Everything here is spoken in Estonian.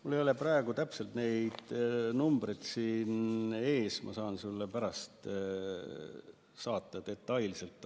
Mul ei ole praegu täpselt neid numbreid siin ees, ma saan sulle pärast detailsed andmed saata.